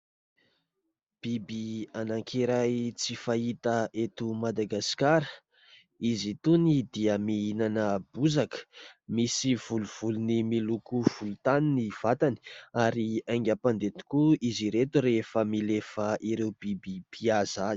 Biby anankiray tsy fahita eto Madagasikara. Izy itony dia mihinana bozaka, misy volovolony miloko volontany ny vatany ary haingam-pandeha tokoa izy ireto rehefa milefa ireo biby mpihaza azy.